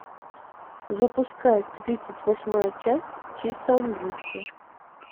запускай тридцать восьмая часть чисто английский